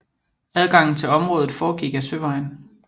Adgangen til området foregik ad søvejen